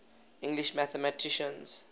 english mathematicians